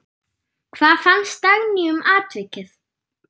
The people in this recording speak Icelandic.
Hvað fannst Dagný um atvikið?